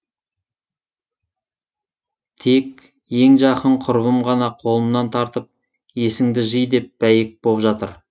тек ең жақын құрбым ғана қолымнан тартып есіңді жи деп бәйек боп жатыр